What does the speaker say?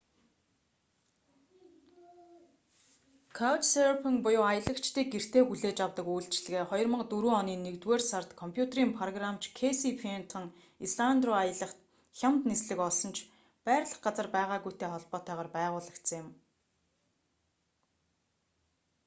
каучсерфинг буюу аялагчдыг гэртээ хүлээж авдаг үйлчилгээ 2004 оны нэгдүгээр сард компьютерийн програмч кэйси фентон исланд руу аялах хямд нислэг олсон ч байрлах газар байгаагүйтэй холбоотойгоор байгуулагдсан юм